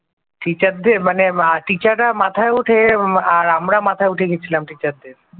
teacher দের মানে teacher রা মাথায় ওঠে আর আমরা মাথায় উঠে গিয়েছিলাম teacher দের ।